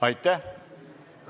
Aitäh!